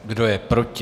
Kdo je proti?